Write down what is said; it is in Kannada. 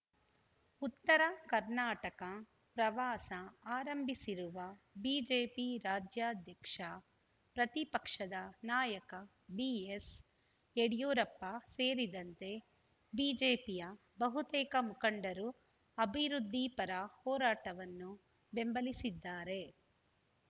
ಉತ್ತರ ಕರ್ನಾಟಕ ಪ್ರವಾಸ ಆರಂಭಿಸಿರುವ ಬಿಜೆಪಿ ರಾಜ್ಯಾಧ್ಯಕ್ಷ ಪ್ರತಿಪಕ್ಷದ ನಾಯಕ ಬಿಎಸ್‌ಯಡಿಯೂರಪ್ಪ ಸೇರಿದಂತೆ ಬಿಜೆಪಿಯ ಬಹುತೇಕ ಮುಖಂಡರು ಅಭಿವೃದ್ಧಿಪರ ಹೋರಾಟವನ್ನು ಬೆಂಬಲಿಸಿದ್ದಾರೆ